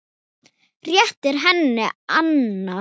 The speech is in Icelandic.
Réttir henni annað.